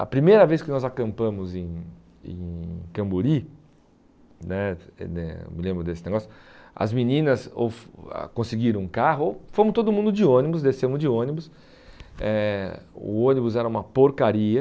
A primeira vez que nós acampamos em em Camburi né, eu me lembro desse negócio, as meninas conseguiram um carro, fomos todo mundo de ônibus, descemos de ônibus, eh o ônibus era uma porcaria.